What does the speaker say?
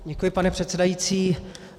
Děkuji, pane předsedající.